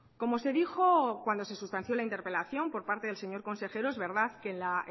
como se dijo cuando se sustanció la interpelación por parte del señor consejero es verdad que en la